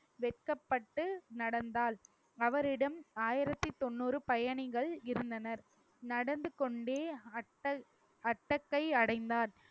வெட்கப்பட்டு நடந்தாள் அவரிடம் ஆயிரத்தி தொண்ணூறு பயணிகள் இருந்தனர் நடந்து கொண்டே அட்ட~ அட்டக்கை அடைந்தான்